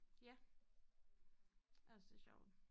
Ja jeg synes det sjovt